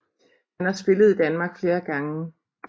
Han har spillet i Danmark flere gange